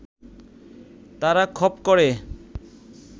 তারা খপ করে